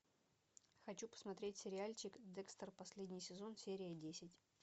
хочу посмотреть сериальчик декстер последний сезон серия десять